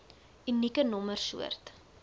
unieke nommer soort